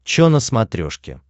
че на смотрешке